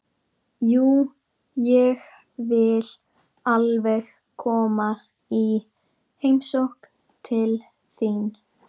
Jú, ég vil alveg koma í heimsókn til þín.